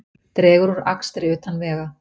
Dregur úr akstri utan vega